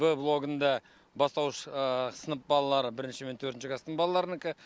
б блогында бастауыш сынып балалары бірінші мен төртінші класстың балаларынікі